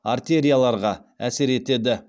артерияларға әсер етеді